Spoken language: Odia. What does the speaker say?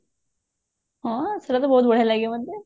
ହଁ ସେଟାତ ବହୁତ ଭଲ ଲାଗେ ମତେ